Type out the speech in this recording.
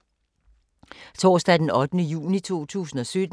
Torsdag d. 8. juni 2017